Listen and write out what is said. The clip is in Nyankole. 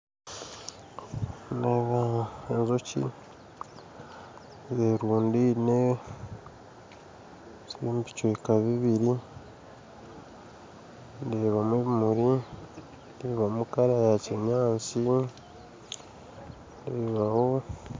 Nindeeba enjoki zerundaine ziri omu bicweka bibiiri ndeebamu ebimuri ndeebamu kara ya kinyaatsi ndeebaho